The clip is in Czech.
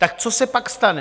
Tak co se pak stane?